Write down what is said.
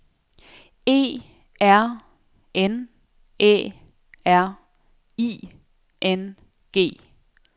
E R N Æ R I N G